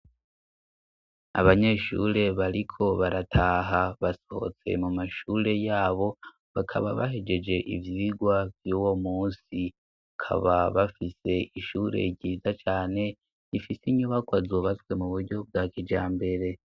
Abanyeshure bariko barataha basohotse mu mashure yabo bakaba bahegeje ivyigwa vy'uwo munsi kaba bafise ishure ryiza cane gifise inyubako zubazwe mu buryo bwa kijambere